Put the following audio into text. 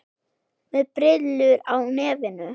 Með brillur er á nefinu.